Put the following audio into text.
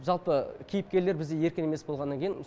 жалпы кейіпкерлер бізде еркін емес болғаннан кейін